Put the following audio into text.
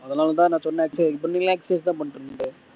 அதனால தான் நான் சொன்னேன்